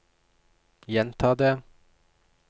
gjenta det